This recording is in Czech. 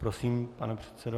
Prosím, pane předsedo.